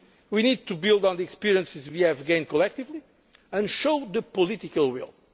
work ahead of us. We need to build on the experience we have gained collectively and we need to show